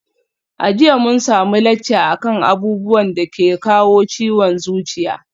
A jiya mun samu lacca akan abubuwan dake kawo ciwon zuciya